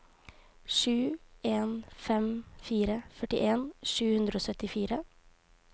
sju en fem fire førtien sju hundre og syttifire